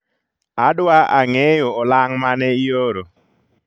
Adwa ang'eeyo olang' mane ioro